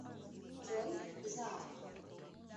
джой заак